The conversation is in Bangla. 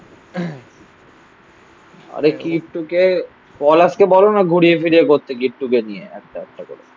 আরে কিট্টুকে পলাশ কে বলো না ঘুরিয়ে ফিরিয়ে করতে. কিট্টুকে নিয়ে. আস্তে আস্তে করে.